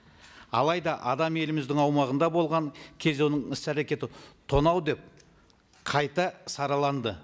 алайда адам еліміздің аумағында болған кезде оның іс әрекеті тонау деп қайта сараланды